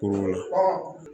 Kulu la